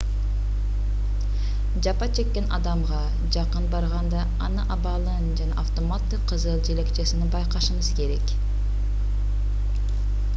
жапа чеккен адамга жакын барганда анын абалын жана автоматтык кызыл желекчесин байкашыңыз керек